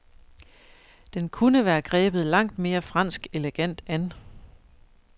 Den kunne være grebet langt mere fransk elegant an.